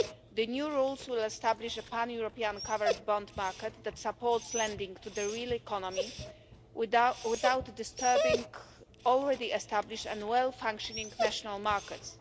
The new rules will establish a pan European covered bond market that supports lending to the real economy without disturbing already established and well functioning national markets.